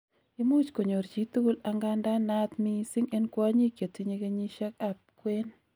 imuch konyor chitugul, angandan naat missing en kwonyik chetinyei kenyisiek ab kwen